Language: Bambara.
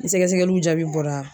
Ni sɛgɛsɛgɛliw jaabi bɔra.